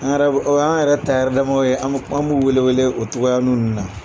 An yɛrɛ b'o o y'an yɛrɛ tayɛrɛ damanw ye an b'o wele wele o cogoyanin ninnu na.